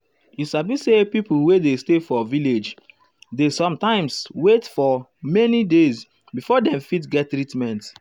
you sabi say pipo wey dey stay for village dey sometimes wait fir many days before dem fit get treatment.